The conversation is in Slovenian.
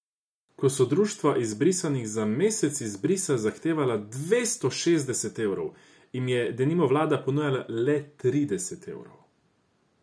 Ko so društva izbrisanih za mesec izbrisa zahtevala dvesto šestdeset evrov, jim je denimo vlada ponujala le trideset evrov.